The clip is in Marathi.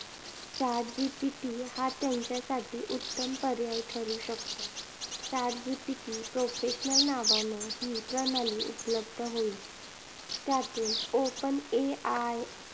Chat GPT हा त्यांच्यासाठी उत्तम पर्याय ठरू शकतो. Chat GPT professional नावानं ही प्रणाली उपलब्ध होईल. त्यातून open AI